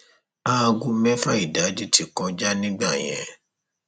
aago mẹfà ìdájí ti kọjá nígbà yẹn